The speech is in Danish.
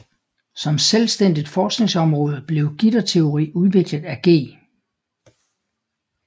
Som selvstændigt forskningsområde blev gitterteori udviklet af G